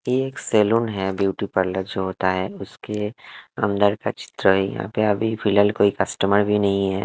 एक सलून है beauty parlour जो होता है उसके अंदर का चित्र है यहाँ पे अभी फ़िलहाल कोई कस्टमर भी नहीं है।